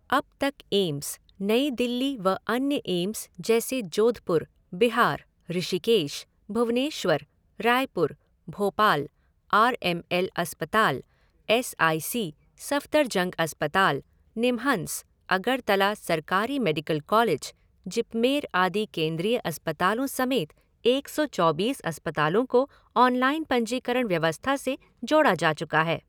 अब तक एम्स, नई दिल्ली व अन्य एम्स जैसे Jodhpur, Bihar, Rishikesh, Bhubaneswar, Raipur, Bhopal, R M L अस्पताल, एस आई सी, सफदरजंग अस्पताल, निमहंस, अगरतला सरकारी मेडिकल कॉलेज, जिपमेर आदि केंद्रीय अस्पतालों समेत एक सौ चौबीस अस्पतालों को ऑनलाइन पंजीकरण व्यवस्था से जोड़ा जा चुका है।